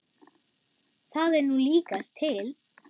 Það er nú líkast til.